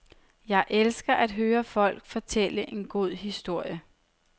Jeg elsker at høre folk fortælle en god historie.